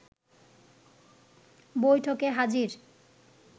বৈঠকে হাজির